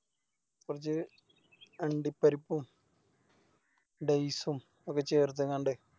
കൊർച്ച് അണ്ടിപ്പരിപ്പും Dates ഉം ഒക്കെ ചേർത്തങ്ങാണ്ട്